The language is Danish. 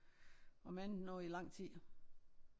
Om andet nu i lang tid